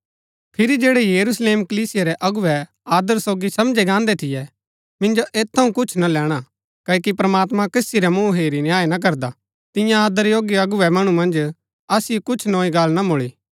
फिरी जैड़ै यरूशलेम कलीसिया रै अगुवै आदर योग्य समझै गान्दै थियै मिंजो ऐत थऊँ कुछ ना लैणा क्ओकि प्रमात्मां कसी रा मुँहा हेरी न्याय ना करदा तियां आदर योग्य अगुवै मणु मन्ज असिओ कुछ नोई गल्ल ना मुळी